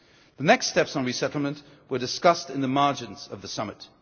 The next steps on resettlement were discussed on the margins of the